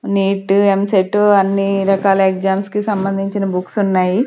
Neat EAMCET అన్ని రకాల exams కి సంబంధించిన బుక్స్ ఉన్నాయి.